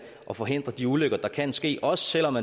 at forhindre de ulykker der kan ske også selv om